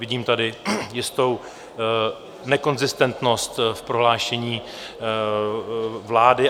Vidím tady jistou nekonzistentnost v prohlášení vlády.